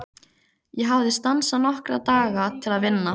Ég hafði stansað nokkra daga til að vinna.